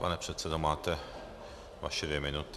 Pane předsedo, máte vaše dvě minuty.